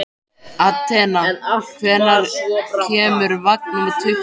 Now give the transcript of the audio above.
Atena, hvenær kemur vagn númer tuttugu?